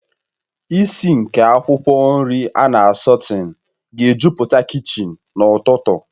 Ìsì nke akwụkwọ nri ana a sọtén ga-ejupụta kichin n'ụtụtụ